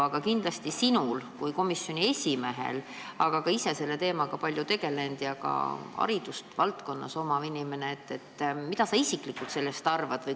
Aga mida sina kui komisjoni esimees ja ise selle teemaga palju tegelenud ja ka selle valdkonna haridusega inimene isiklikult sellest arvad?